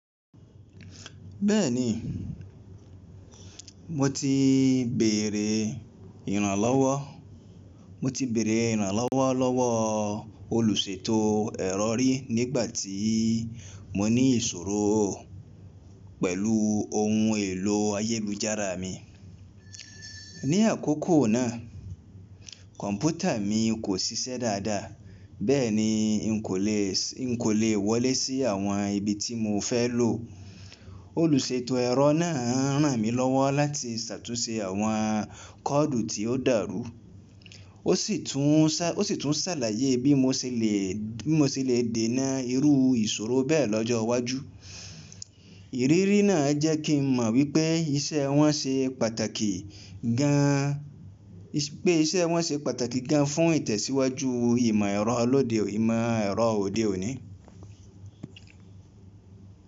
Bẹ́ẹ̀ni, mo ti bèèrè ìrànlọ́wọ́, mo ti bèèrè ìrànlọ́wọ́ lọ́wọ́ olùṣètò ẹ̀rọ rí nígbà tí mo ní ìṣòro pẹ̀lú ohun èlò ayélujára mi. Ni àkókò náà, kọ̀ǹpútà mi kò ṣiṣẹ́ dáadáa, bẹ́ẹ̀ ni n kò lè, n kò lè wọlé sí àwọn ibi tí mo fẹ́ lò. Olùṣètò ẹ̀rọ náà ràn mí lọ́wọ́ láti ṣàtúnṣe àwọn kọ́ọ̀dù tí ó dàrú. Ó sì tún, ó sì tún ṣàlàyé bí mo ṣe lè, bí mo ṣe lè dènà irú ìṣòro bẹ́ẹ̀ lọ́jọ́ iwájú. Ìrírí náà jẹ́ kí n mọ̀ wípé iṣẹ́ wọn ṣe pàtàkì gan, pé iṣẹ́ wọn ṣe pàtàkì gan fún ìtẹ̀síwájú ìmọ̀ ẹ̀rọ lọ́de, ìmọ̀ ẹ̀rọ òde òní.